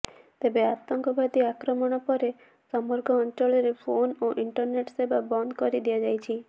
ତେବେ ଆତଙ୍କବାଦୀ ଆକ୍ରମଣ ପରେ ସମଗ୍ର ଅଞ୍ଚଳରେ ଫୋନ ଓ ଇଣ୍ଟରନେଟ ସେବା ବନ୍ଦ କରି ଦିଆଯାଇଛି